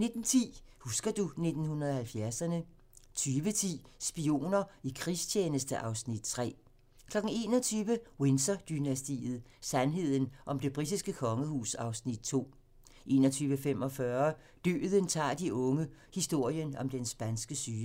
19:10: Husker du 1970'erne ... 20:10: Spioner i krigstjeneste (Afs. 3) 21:00: Windsor-dynastiet: Sandheden om det britiske kongehus (Afs. 2) 21:45: Døden tager de unge - historien om den spanske syge